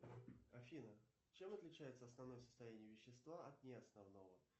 афина чем отличается основное состояние вещества от неосновного